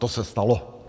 - To se stalo.